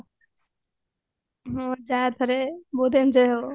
ହଁ ଯା ଥରେ ବହୁତ enjoy ହବ